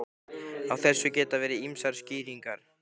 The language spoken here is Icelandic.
Á þessu geta verið ýmsar skýringar.